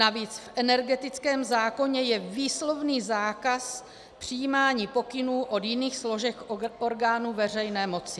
Navíc v energetickém zákoně je výslovný zákaz přijímání pokynů od jiných složek orgánů veřejné moci.